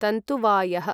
तन्तुवायः